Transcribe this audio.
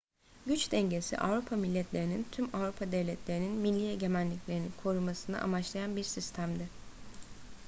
güç dengesi avrupa milletlerinin tüm avrupa devletlerinin milli egemenliklerini korumasını amaçlayan bir sistemdi